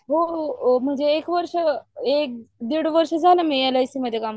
म्हणजे एक वर्ष डिड वर्ष झालं मी एलआयसी मध्ये काम करतोय